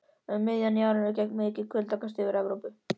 Um miðjan janúar gekk mikið kuldakast yfir Evrópu.